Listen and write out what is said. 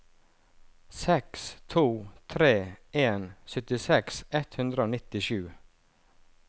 seks to tre en syttiseks ett hundre og nittisju